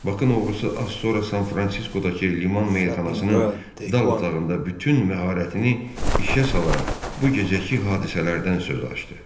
Bakın oğlu isə az sonra San Fransiskodakı liman meyxanasının dal otağında bütün məharətini işə salaraq bu gecəki hadisələrdən söz açdı.